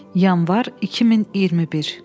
Yanvar 2021.